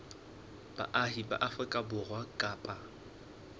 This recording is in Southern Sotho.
baahi ba afrika borwa kapa